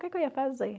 O que que eu ia fazer?